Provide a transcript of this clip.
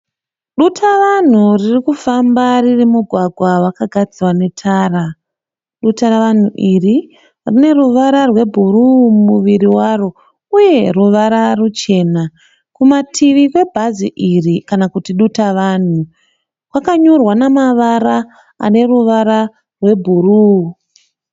Dutavanhu ririkufamba riri mumugwagwa wakagadzirwa netara. Dutavanhu iri rine ruvara rwe bhuruu muviri waro, uye ruvara ruchena . kumativi kwe bhazi iri kana Kuti duta vanhu kwakanyorwa nemavara ane ruvara re bhuruu.